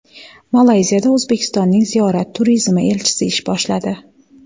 Malayziyada O‘zbekistonning ziyorat turizmi elchisi ish boshladi.